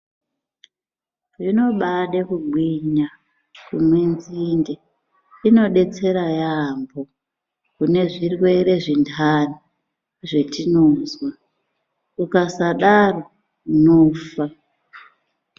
Zvinobade kugwinya kumwe nzinde. Inodetsera yaambo kune zvirwere zvendani zvetinozwa. Ukasadaro unofa.